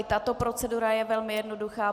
I tato procedura je velmi jednoduchá.